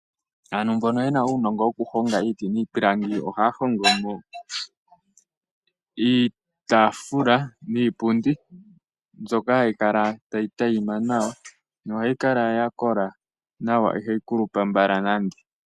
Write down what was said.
Aantu mbono ye na uunongo wokuhonga iiti niipilangi oha ya hongomo iitafula niipundi mbyoka hayi kala tayi tayima nawa noha yi kala ya kola no iha yi kulupa mbala nande.